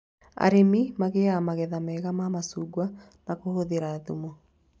Arĩmi magĩaga magetha mega ma macungwa na kũhũthĩra thumu